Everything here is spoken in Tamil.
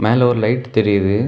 மேல ஒரு லைட் தெரியுது.